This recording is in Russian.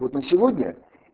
вот на сегодня